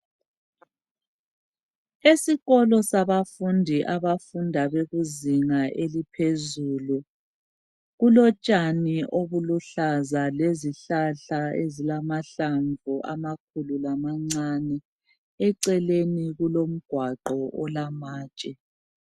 Esikolo sabafundi abafunda bekuzinga eliphezulu .Kulotshani obuluhlaza lezihlahla ezilamahlamvu amakhulu lamancane. Eceleni kulomgwaqo olamatshe.